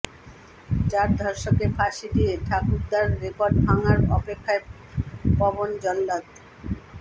চার ধর্ষককে ফাঁসি দিয়ে ঠাকুরদার রেকর্ড ভাঙার অপেক্ষায় পবন জল্লাদ